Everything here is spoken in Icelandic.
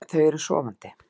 Þau eru sofandi.